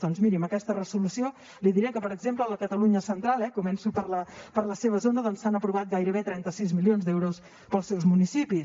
doncs miri amb aquesta resolució li diré que per exemple a la catalunya central eh començo per la seva zona s’han aprovat gairebé trenta sis milions d’euros per als seus municipis